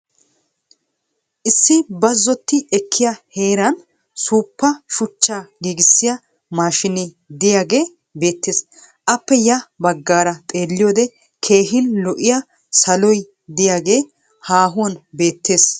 Issi bazzotti ekkiya heeraani suuppa shuchchaa giigissiya maashinee de'iyagee beettes. Appe ya baggaaara xeelliyoode keehin lo'iya saloy diyagee haahuwan beettes.